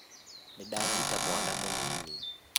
Nĩndanyita mwana mũnini